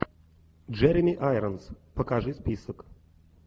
джереми айронс покажи список